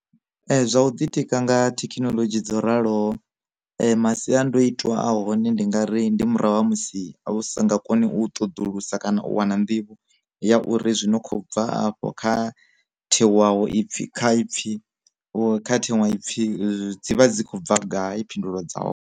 Zwa u ḓitika nga thekinoḽodzhi dzo raloho, masiandoitwa a hone ndi nga ri ndi murahu ha musi a sa nga koni u ṱoḓulusa kana u wana nḓivho ya uri zwino kho bva afho kha thewaho ipfhi kha pfi kha thengwe ipfi dzi vha dzi khou bva gai phindulo dza hone.